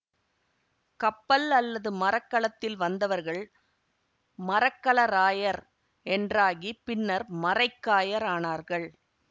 கப்பல் அல்லது மரக்கலத்தில் வந்தவர்கள் மரக்கலராயர் என்றாகி பின் மரைக்காயர் ஆனார்கள்